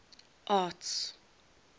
arts